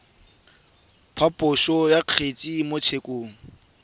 phaposo ya kgetse mo tshekong